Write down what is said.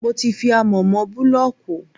Mo ti fi amọ̀ mọ búlọ̀kù.